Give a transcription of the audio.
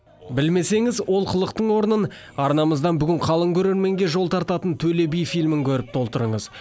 білмесеңіз олқылықтың орнын арнамыздан бүгін қалың көрерменге жол тартатын төле би фильмін көріп толтырыңыз